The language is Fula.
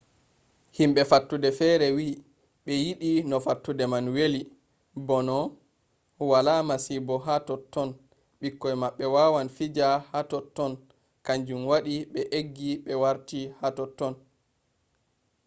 himɓe fattude fere wi ɓe yiɗi no fattude man weli bo no wala masibo hatotton ɓikkoi maɓɓe wawan fija hatotton kanjum waɗi be eggi ɓe warti totton